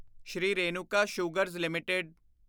Shri Renuka sugars LTD